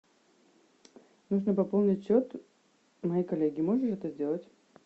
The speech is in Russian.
нужно пополнить счет моей коллеги можно это сделать